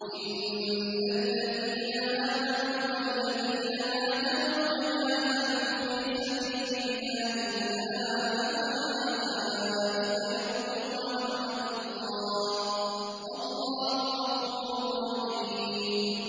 إِنَّ الَّذِينَ آمَنُوا وَالَّذِينَ هَاجَرُوا وَجَاهَدُوا فِي سَبِيلِ اللَّهِ أُولَٰئِكَ يَرْجُونَ رَحْمَتَ اللَّهِ ۚ وَاللَّهُ غَفُورٌ رَّحِيمٌ